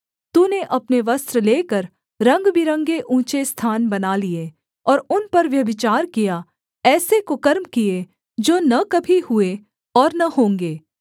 तूने अपने वस्त्र लेकर रंगबिरंगे ऊँचे स्थान बना लिए और उन पर व्यभिचार किया ऐसे कुकर्म किए जो न कभी हुए और न होंगे